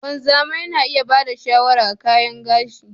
Wanzami Yana iya ba da shawara ga kayan gashi.